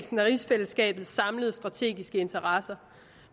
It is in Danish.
rigsfællesskabets samlede strategiske interesser